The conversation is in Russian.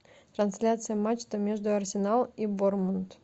трансляция матча между арсенал и борнмут